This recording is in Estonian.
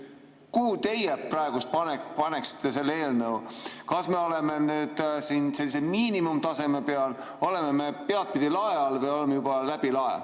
Kuhu teie praegu paigutaksite selle eelnõu: kas me oleme miinimumtaseme peal, oleme me lae all või oleme juba peadpidi läbi lae?